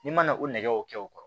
N'i ma na o nɛgɛw kɛ o kɔrɔ